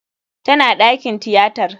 Tana dakin tiyatar.